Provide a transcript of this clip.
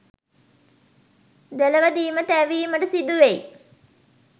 දෙලොවදීම තැවීමට සිදුවෙයි.